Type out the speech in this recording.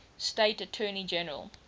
state attorney general